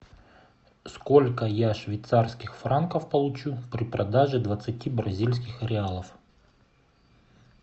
сколько я швейцарских франков получу при продаже двадцати бразильских реалов